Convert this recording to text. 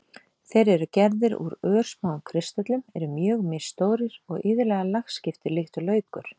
Þeir eru gerðir úr örsmáum kristöllum, eru mjög misstórir og iðulega lagskiptir líkt og laukur.